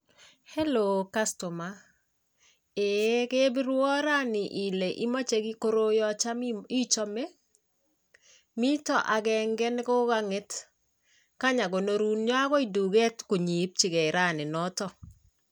Helloo customer ee kebirwon rani ile imoche koroon cham ichomee miton agengee nekokonget nyon akoi tuket inyo ipjigee ranii noton.